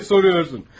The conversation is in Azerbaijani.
Bir də soruşursan.